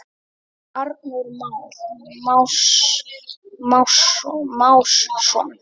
Arnór Már Másson.